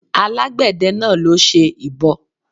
Àgbẹ̀dẹ náà ló ṣe ìbo